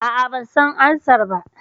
A'a, ban san ansar ba.